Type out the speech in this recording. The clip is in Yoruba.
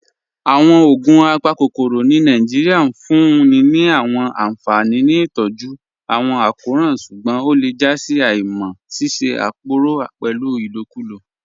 Awọn ogun apakokoro ni Nàìjíríà n fún ni ni awọn anfani ni itọju awọn akọran ṣugbọn o le jà sí àímá ṣíṣẹ̀ àpòrò pẹ́lu ilòkùlò.